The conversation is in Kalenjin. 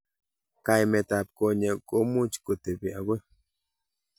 Kaimet ab konyek komuch kotebi akoi.